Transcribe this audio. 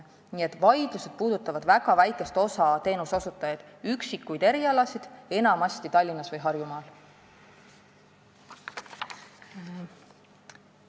Nii et vaidlused puudutavad väga väikest osa teenuseosutajaid ja üksikuid erialasid enamasti Tallinnas või Harjumaal.